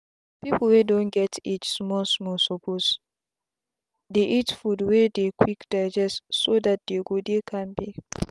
people wey don get age small small suppose dey eat food wey dey quick digestso that dey go dey kampe.